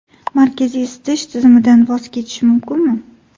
Markaziy isitish tizimidan voz kechish mumkinmi?.